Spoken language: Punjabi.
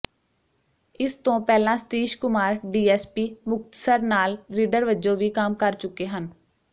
ਇਸਤੋਂ ਪਹਿਲਾਂ ਸਤੀਸ਼ ਕੁਮਾਰ ਡੀਐਸਪੀ ਮੁਕਤਸਰ ਨਾਲ ਰੀਡਰ ਵਜੋਂ ਵੀ ਕੰਮ ਕਰ ਚੁੱਕੇ ਹਨ